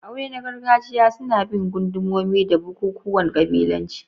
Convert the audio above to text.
Aure na gargajiya suna bin gundumomi da bukukuwan kabilanci.